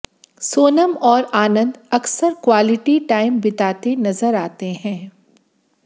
सोनम और आनंद अक्सर quality time बिताते नजर आते हैं